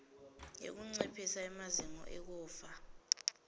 yekunciphisa emazinga ekufa